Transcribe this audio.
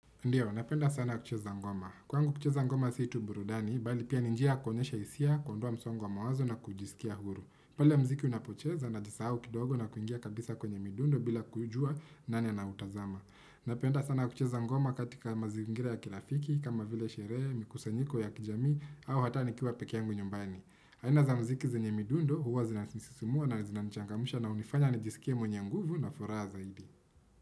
Ndiyo, napenda sana kucheza ngoma. Kwangu kucheza ngoma si tu burudani, bali pia ni njia kuonyesha isia, kuondoa msongo wa mawazo na kujisikia huru. Pale mziki unapocheza najisau kidogo na kuingia kabisa kwenye midundo bila kuijua nani anautazama. Napenda sana kucheza ngoma katika mazingira ya kilafiki, kama vile sherehe, mikusanyiko ya kijamii, au hata nikiwa pekeyangu nyumbani. Aina za mziki zinye midundo, huwa zinansisimua na zinanichangamusha na unifanya nijisikie mwenye nguvu na furaha zaidi.